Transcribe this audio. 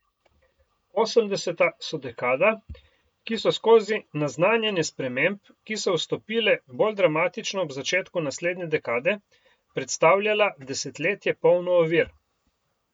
Osemdeseta so dekada, ki so skozi naznanjanje sprememb, ki so vstopile bolj dramatično ob začetku naslednje dekade, predstavljala desetletje polno ovir.